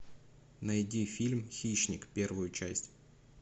найди фильм хищник первую часть